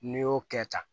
N'i y'o kɛ tan